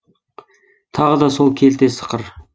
тағы да сол келте сықыр